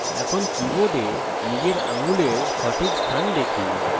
এখন keyboard নিজের আঙ্গুলের সঠিক স্থান দেখি